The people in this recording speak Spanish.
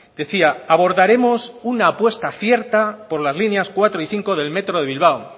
decía abordaremos una apuesta cierta por las líneas cuatro y cinco del metro de bilbao